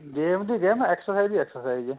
game ਦੀ game exercise ਦੀ exercise